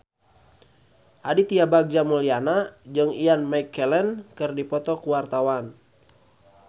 Aditya Bagja Mulyana jeung Ian McKellen keur dipoto ku wartawan